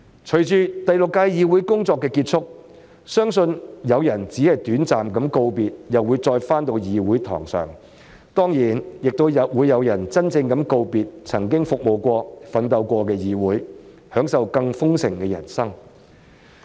隨着第六屆議會工作結束，相信有人只是短暫告別，然後便會重回議事堂，當然亦有人會真正告別曾經服務、奮鬥的議會，享受更豐盛的人生。